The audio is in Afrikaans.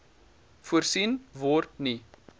voorsien word nie